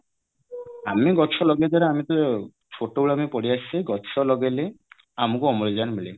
ଆମେ ଗଛ ଲଗେଇବା ଦ୍ଵାରା ଆମେ ତ ଛୋଟାବେଳେ ଆମେ ପଢିଆସିଛେ ଗଛ ଲଗେଇଲେ ଆମକୁ ଅମ୍ଳଜାନ ମିଳେ